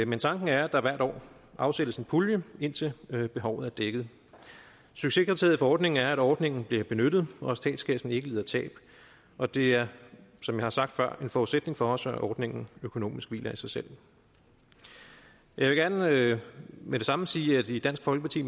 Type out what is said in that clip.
men tanken er at der hvert år afsættes en pulje indtil behovet er dækket succeskriteriet for ordningen er at ordningen bliver benyttet og at statskassen ikke lider tab og det er som jeg har sagt før en forudsætning for os at ordningen økonomisk hviler i sig selv jeg vil gerne med det samme sige at vi i dansk folkeparti